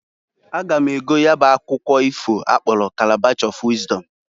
A ga m ego ya bụ akwukwu ifo akpọlụ Kalabash of Wịzdọm.